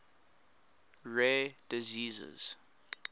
rare diseases